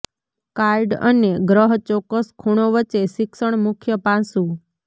card અને ગ્રહ ચોક્કસ ખૂણો વચ્ચે શિક્ષણ મુખ્ય પાસું